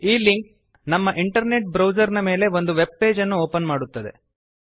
ಈ ಲಿಂಕ್ ನಮ್ಮ internet browser ಮೇಲೆ ಒಂದು ವೆಬ್ ಪೇಜ್ ನ್ನು ಓಪನ್ ಮಾಡುತ್ತದೆ